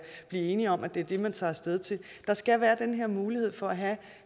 blive enige om at det er det man tager af sted til der skal være den her mulighed for at have